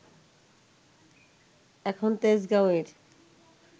এখন তেজগাঁওয়ের